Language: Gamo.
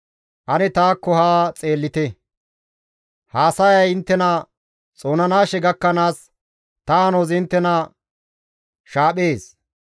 Ane taakko ha xeellite; haasayay inttena xoonanaashe gakkanaas ta hanozi inttena shaaphees.